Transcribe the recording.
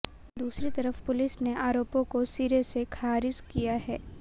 दूसरी तरफ़ पुलिस ने आरोपों को सिरे से खारिज किया है